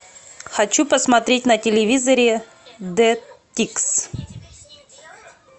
хочу посмотреть на телевизоре д тикс